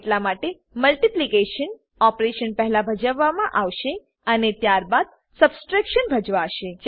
એટલા માટે multiplication operation પહેલા ભજવવામાં આવશે અને ત્યારબાદ સબટ્રેક્શન ભજવાશે